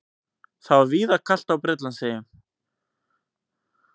Það var víðar kalt á Bretlandseyjum